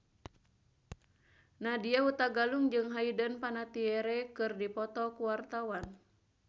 Nadya Hutagalung jeung Hayden Panettiere keur dipoto ku wartawan